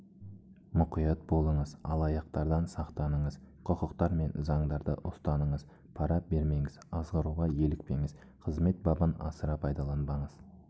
мұқият болыңыз алаяқтардан сақтаныңыз құқықтар мен заңдарды ұстаныңыз пара бермеңіз азғыруға елікпеңіз қызмет бабын асыра пайдаланбаңыз